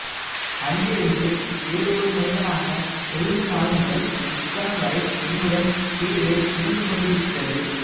அங்கிருந்து வேறு ஒருமனிதனாக எழுந்த நாள்முதல் இக்கணம் வரை என்னுடன் கீதை இருந்துகொண்டிருக்கிறது